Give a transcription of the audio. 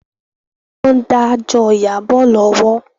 Wọn dà jọ Iyabo lọ́wọ́